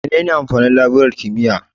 Menene amfanin laburar kimiyya?